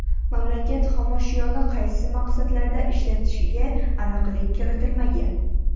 Mamlakat xomashyoni qaysi maqsadlarda ishlatishiga aniqlik kiritilmagan.